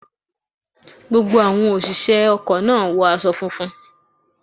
Gbogbo àwọn òṣìṣẹ́ ọkọ̀ náà wọ aṣọ funfun.